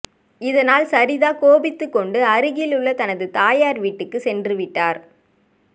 இதனால் சரிதா கோபித்துக்கொண்டு அருகில் உள்ள தனது தாயார் வீட்டுக்கு சென்றுவிட்டார்